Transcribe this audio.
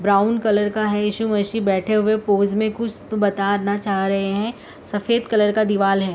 Brown colour का है यीशु मसीह बैठे हुए पोज़ मे कुछ बताना चाह रहे हैं। सफेद कलर का दिवाला है।